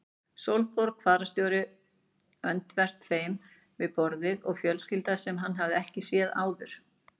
Sólborg fararstjóri öndvert þeim við borðið og fjölskylda sem hann hafði ekki séð áður.